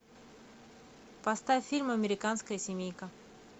поставь фильм американская семейка